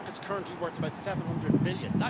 The market is currently worth about EUR 700 billion.